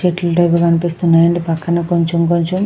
చెట్లు రేవు కనిపిస్తున్నాయండి పక్కన కొంచెం కొంచెం.